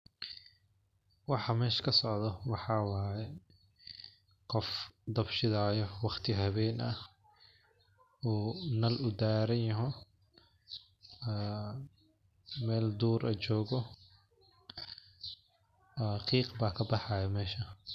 Waxaa meshaa kasocdho waxaa waye, qof dab shidaayo waqti hawen ah, uu nal udaranyaho, ee mel dur eh jogooh, qiiq ba kabaxayaa mesha.